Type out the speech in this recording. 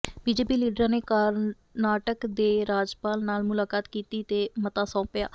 BJP ਲੀਡਰਾਂ ਨੇ ਕਰਨਾਟਕ ਦੇ ਰਾਜਪਾਲ ਨਾਲ ਮੁਲਾਕਾਤ ਕੀਤੀ ਤੇ ਮਤਾ ਸੌਂਪਿਆ